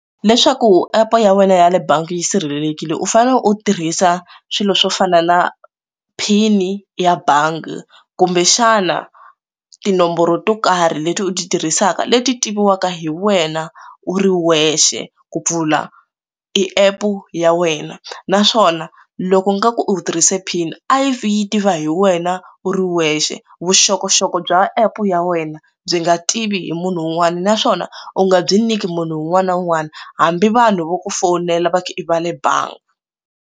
Leswaku app ya wena ya le bangi yi sirhelelekile u fanele u tirhisa swilo swo fana na pin ya bangi kumbexana tinomboro to karhi leti u ti tirhisaka leti tiviwaka hi wena u ri wexe ku pfula i app ya wena naswona loko nga ku u tirhise pin a yi vi yi tiva hi wena u ri wexe vuxokoxoko bya app ya wena byi nga tivi hi munhu un'wana naswona u nga byi nyiki munhu un'wana na un'wana hambi vanhu vo ku fowunela va i va le bangi.